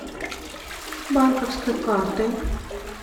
банковской картой